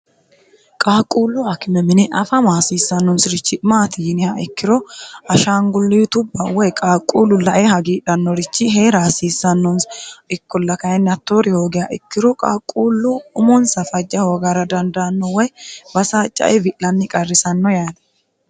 qaaqquullu akime mine afama hasiissannonsi'richi maati yiniha ikkiro hashaangulltubba woy qaaqquullu lae hagiidhannorichi hee'ra aasiissannoni ikkolki ttoori hoogeha ikkiro qaaqquullo umonsa fajja hoogara dandaanno woy basaa ccae wi'lanni qarrisanno yaani